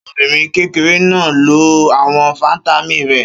Ṣé ọmọbìnrin kékeré náà lo àwọn fataímìn rẹ̀?